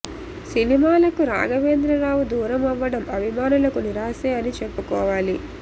సినిమాలకు రాఘవేంద్ర రావు దూరం అవ్వడం అభిమానులకు నిరాశే అని చెప్పుకోవాలి